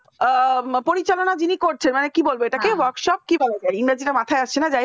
ও পরিচালনার যিনি করছেন মানে কি বলবে এটাকে workshop কি বলা যায় এ মুহূর্তে মাথায় আসছে না